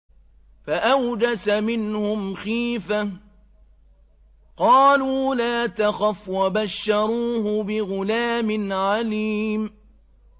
فَأَوْجَسَ مِنْهُمْ خِيفَةً ۖ قَالُوا لَا تَخَفْ ۖ وَبَشَّرُوهُ بِغُلَامٍ عَلِيمٍ